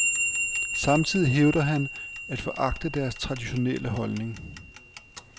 Samtidig hævder han at foragte deres traditionelleholdning.